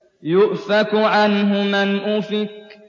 يُؤْفَكُ عَنْهُ مَنْ أُفِكَ